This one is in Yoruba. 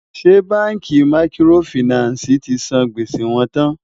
ṣé bánkì màkìrófinààsí tí sàn gbèsè wón tán?